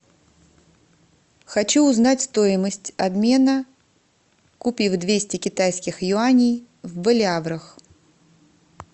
хочу узнать стоимость обмена купив двести китайских юаней в боливарах